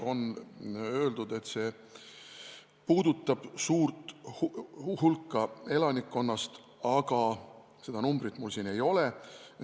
On öeldud, et see puudutab suurt hulka elanikkonnast, aga seda numbrit mul siin ei ole.